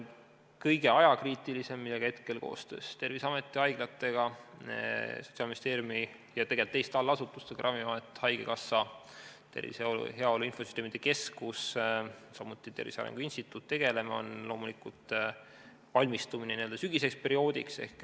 Kõige ajakriitilisem on see, millega me hetkel koostöös Terviseameti ja haiglatega ja tegelikult Sotsiaalministeeriumi teiste allasutustega tegeleme, see on loomulikult valmistumine sügiseseks perioodiks.